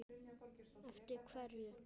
Eftir hverju?